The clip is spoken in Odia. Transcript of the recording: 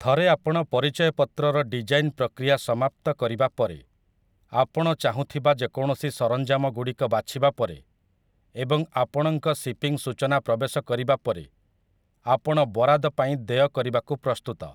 ଥରେ ଆପଣ ପରିଚୟ ପତ୍ର ର ଡିଜାଇନ୍‌ ପ୍ରକ୍ରିୟା ସମାପ୍ତ କରିବା ପରେ, ଆପଣ ଚାହୁଁଥିବା ଯେକୌଣସି ସରଞ୍ଜାମ ଗୁଡ଼ିକ ବାଛିବାପରେ ଏବଂ ଆପଣଙ୍କ ସିପିଂ ସୂଚନା ପ୍ରବେଶ କରିବାପରେ, ଆପଣ ବରାଦ ପାଇଁ ଦେୟ କରିବାକୁ ପ୍ରସ୍ତୁତ ।